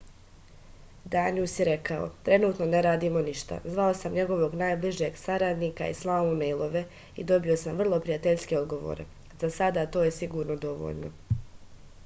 danijus je rekao trenutno ne radimo ništa zvao sam njegovog najbližeg saradnika i slao mu mejlove i dobio sam vrlo prijateljske odgovore za sada to je sigurno dovoljno